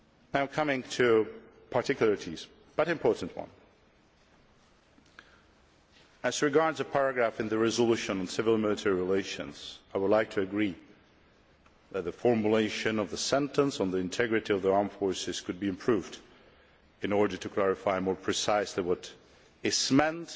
Now coming to particularities, but important ones as regards a paragraph in the resolution on civil military relations I would like to agree that the formulation of the sentence on the integrity of the armed forces could be improved in order to clarify more precisely what is